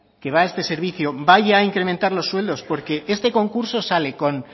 que va a este servicio vaya a incrementar los sueldos porque este concurso sale con